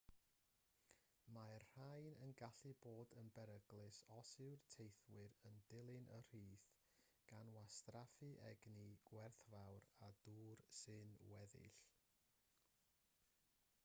mae'r rhain yn gallu bod yn beryglus os yw'r teithiwr yn dilyn y rhith gan wastraffu egni gwerthfawr a dŵr sy'n weddill